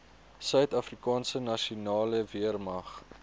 suidafrikaanse nasionale weermag